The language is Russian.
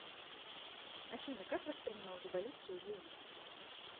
афина как воспринимал революцию бунин